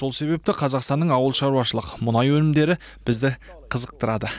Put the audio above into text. сол себепті қазақстанның ауылшаруашылық мұнай өнімдері бізді қызықтырады